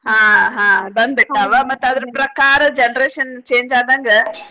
ಹಾ ಹಾ ಬಂದ್ ಬಿಟ್ಟಾವ ಮತ್ತ ಅದರ ಪ್ರಕಾರ generation change ಆದಂಗ .